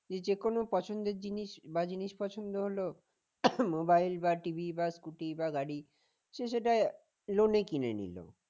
যে কোন পছন্দের জিনিস বা জিনিস পছন্দ হলো mobile বা TV বা scooty বা গাড়ি সে সেটা loan এ কিনে নিল